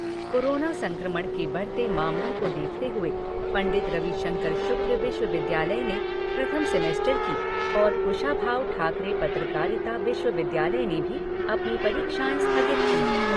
Corona संक्रमण के बढ़ते मामलों को देखते हुए पंडित रविशंकर शुक्ल विश्वविद्यालय ने प्रथम सेमेस्टर और कुशाभाऊ ठाकरे पत्रकारिता विश्वविद्यालय ने भी अपनी परीक्षाएं स्थगित कीं।